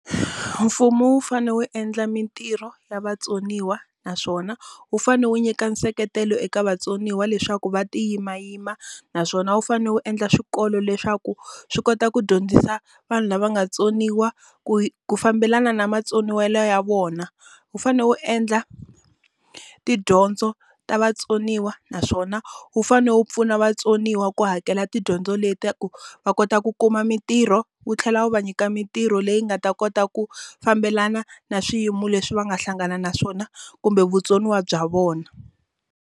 Mfumo wu fanele wu endla mintirho ya vatsoniwa naswona, wu fanele wu nyika nseketelo eka vatsoniwa leswaku va ti yimayima. Naswona wu fanele wu endla swikolo leswaku swi kota ku dyondzisa vanhu lava nga vatsoniwa ku ku fambelana na matsoniwelo ya vona. Wu fanele wu endla tidyondzo ta vatsoniwa naswona wu fanele wu pfuna vatsoniwa ku hakela tidyondzo leti ta ku va kota ku kuma mintirho. Wu tlhela wu va nyika mintirho leyi nga ta kota ku fambelana na swiyimo leswi va nga hlangana na swona kumbe vutsoniwa bya vona.